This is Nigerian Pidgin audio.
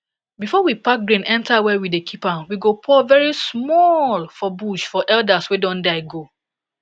before we pack grain enter where we dey keep am we go pour very smallllllll for bush for elders wey don die go